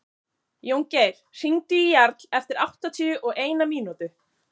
Jóngeir, hringdu í Jarl eftir áttatíu og eina mínútur.